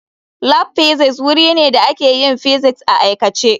Lab Physics wuri ne da ake yin physics a aikace.